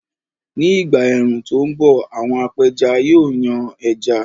Ní ìgbà ẹ̀rùn tó ń bọ̀, àwọn apẹja yóò yan ẹja